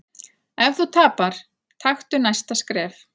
Ef þú tapar, taktu næsta skref.